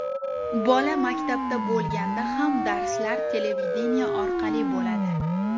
Bola maktabda bo‘lganda ham, darslar televideniye orqali bo‘ladi.